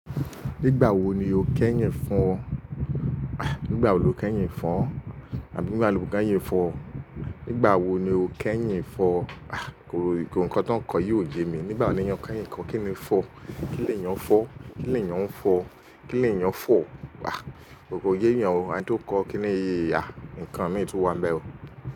Nígbà wo ni o kẹ́yìn fọ̀? Nígbà wo lo kẹ́yìn fọ̀? Àbí nígbà wo lo kẹ́yìn fọ̀? Nígbà wo ni o kẹ́yìn ń fọ̀? Ah, nǹkan ti won kọ́ yìí ò yẹ mi. Nígbà wo ni ìyẹn kẹ́yìn ń kọ̀? Kí ni ń fọ̀? Kí lè yẹn ń fọ̀? Kí lè yẹn ń fọ̀? Kí lè yẹn ń fọ̀? Ah, kòkò yéyẹ o, ẹni tó ń kọ́ kíni yéyẹ à nǹkan méjì tó wà bẹ́wọ̀